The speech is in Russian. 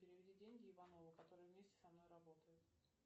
переведи деньги иванову который вместе со мной работает